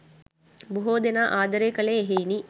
බොහෝ දෙනා ආදරය කළේ එහෙයිනි.